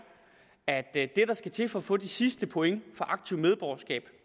at det der skal til for at få de sidste point for aktivt medborgerskab